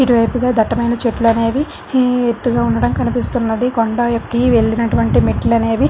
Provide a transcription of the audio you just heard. ఇటువైపుగా దట్టమైన చెట్లు అనేవి హ ఎత్తుగా ఉండడం కనిపిస్తున్నది కొండ ఎక్కి వెళ్లినటువంటి మెట్లు అనేవి --